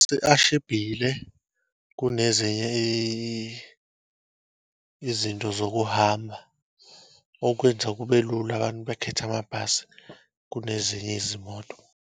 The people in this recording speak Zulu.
Amabhasi ashibhile kunezinye izinto zokuhamba, okwenza kube lula abantu bekhethe amabhasi kunezinye izimoto.